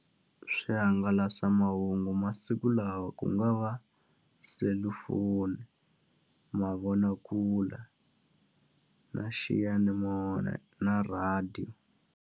Swihangalasamahungu masiku lawa ku nga va selufon, i mavonakule, na xiyanimoya, na rhadiyo.